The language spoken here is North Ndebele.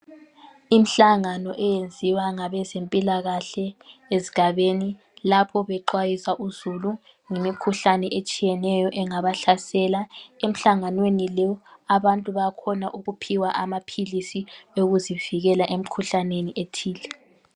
Imhlangano eyenziwa ngabezempilakahle ezigabeni lapho bexwayisa uzulu ngemikhuhlane etshiyeneyo engabahlasela. Emhlanganweni lo abantu bayakhona ukuphiwa amaphilisi okuzivikela emikhuhlaneni ethile